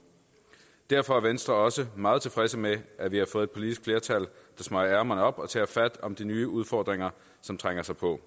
derfor er venstre også meget tilfredse med at vi har fået et politisk flertal der smøger ærmerne op og tager fat om de nye udfordringer som trænger sig på